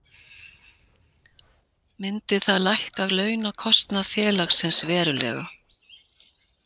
Myndi það lækka launakostnað félagsins verulega.